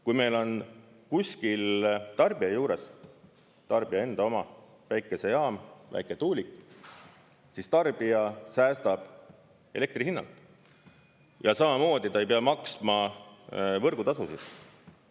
Kui meil on kuskil tarbija juures tarbija enda oma päikesejaam, väiketuulik, siis tarbija säästab elektri hinnast ja samamoodi ta ei pea maksma võrgutasusid.